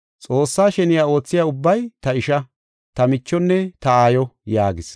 Xoossay sheniya oothiya ubbay ta isha, ta michonne ta aayo” yaagis.